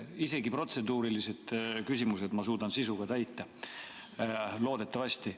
Isegi protseduurilised küsimused ma suudan sisuga täita – loodetavasti.